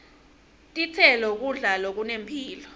titselo kudla lokunemphilo